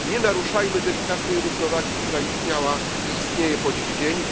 Nie naruszajmy delikatnej równowagi, która istniała i istnieje po dziś dzień.